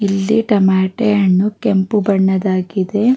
ಇಲ್ಲಿ ಟೊಮಾಟೊ ಹಣ್ಣು ಕೆಂಪು ಬಣ್ಣವಾಗಿದೆ.